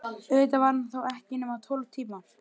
Auðvitað var hann þó ekki nema tólf tímar.